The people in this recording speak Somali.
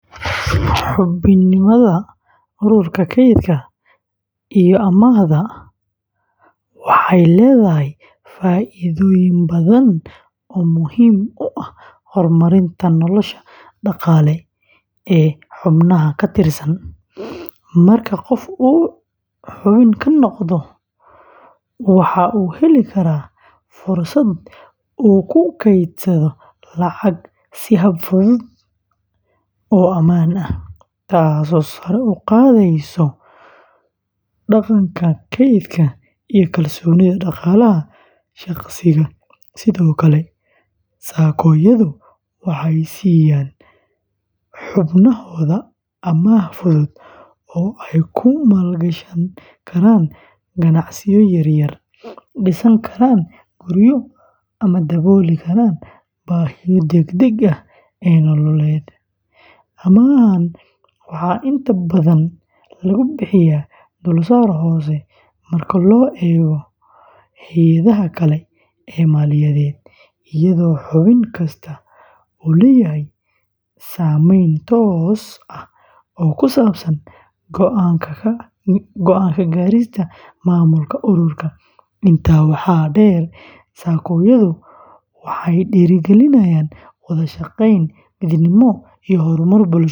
Xubinimada ururka kaydka iyo amaahda ee waxay leedahay faa’iidooyin badan oo muhiim u ah horumarinta nolosha dhaqaale ee xubnaha ka tirsan. Marka qof uu xubin ka noqdo, waxa uu heli karaa fursad uu ku kaydsado lacag si hab fudud oo ammaan ah, taasoo sare u qaadaysa dhaqanka kaydka iyo kalsoonida dhaqaalaha shaqsiga. Sidoo kale, SACCO-yadu waxay siiyaan xubnahooda amaah fudud oo ay ku maalgashan karaan ganacsiyo yaryar, dhisan karaan guryo ama dabooli karaan baahiyaha degdegga ah ee nololeed. Amaahan waxaa inta badan lagu bixiyaa dulsaar hoose marka loo eego hay’adaha kale ee maaliyadeed, iyadoo xubin kasta uu leeyahay saamayn toos ah oo ku saabsan go’aan ka gaarista maamulka ururka. Intaa waxaa dheer, SACCO-yadu waxay dhiirrigeliyaan wada shaqeyn, midnimo iyo horumar bulsho.